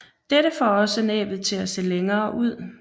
Dette får også næbet til at se længere ud